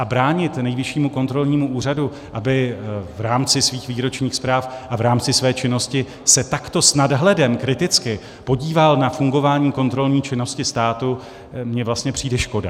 A bránit Nejvyššímu kontrolnímu úřadu, aby v rámci svých výročních zpráv a v rámci své činnosti se takto s nadhledem kriticky podíval na fungování kontrolní činnosti státu, mi vlastně přijde škoda.